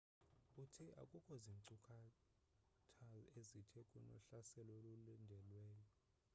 uthe akukho zinkcukatha ezithi kunohlaselo olulindelweyo